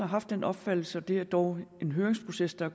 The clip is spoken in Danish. haft den opfattelse det er dog en høringsproces der